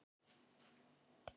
Hvaðan ertu?